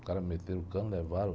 Os caras me meteram o cano, levaram.